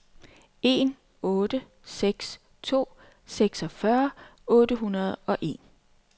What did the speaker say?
en otte seks to seksogfyrre otte hundrede og en